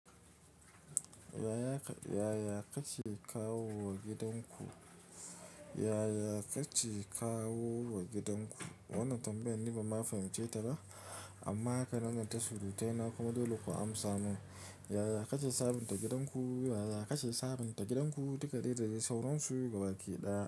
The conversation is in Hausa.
Yaya kake kawo wa gidanku? Yaya kake kawo wa gidanku? Wannan tambayan ni ba ma fahimce ta ba. Amma haka nan gidan ta surutai na kuma dole ku amsa min. Yaya kake sabunta gidanku? Yaya kake sabunta gidanku? Duka dai da dadai sauron suyi gaba ke ɗaya.